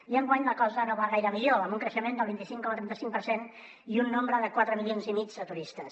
i enguany la cosa no va gaire millor amb un creixement del vint cinc coma trenta cinc per cent i un nombre de quatre milions i mig de turistes